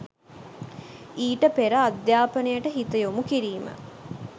ඊට පෙර අධ්‍යාපනයට හිත යොමු කිරීම